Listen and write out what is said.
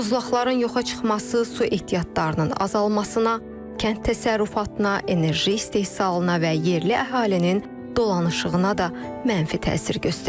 Buzlaqların yoxa çıxması su ehtiyatlarının azalmasına, kənd təsərrüfatına, enerji istehsalına və yerli əhalinin dolanışığına da mənfi təsir göstərəcək.